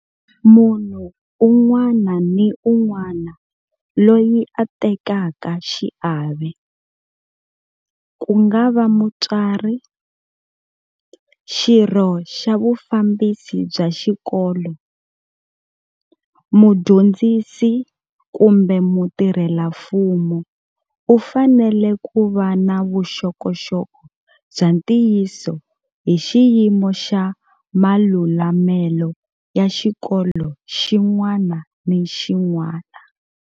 Munhu un'wana ni un'wana loyi a tekaka xiave, ku nga va mutswari, xirho xa vufambisi bya xikolo, mudyondzisi kumbe mutirhelamfumo u fanele ku va na vuxokoxoko bya ntiyiso hi xiyimo xa malulamelo ya xikolo xin'wana ni xin'wana.